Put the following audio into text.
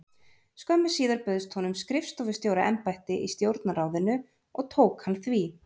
Skömmu síðar bauðst honum skrifstofustjóra- embætti í Stjórnarráðinu og tók hann því.